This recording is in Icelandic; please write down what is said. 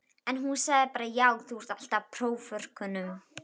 En hún sagði bara já þú ert alltaf í próförkunum?